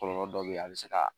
Kɔlɔlɔ dɔ bɛ ye a bɛ se ka